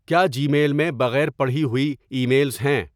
کیا Gmail میں بغیر پڑھی ہوئی ای میلز ہیں